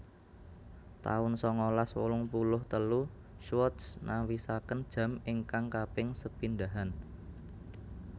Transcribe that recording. taun sangalas wolung puluh telu Swatch nawisaken jam ingkang kaping sepindhahan